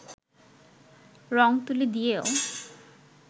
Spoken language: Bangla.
রং-তুলি দিয়েও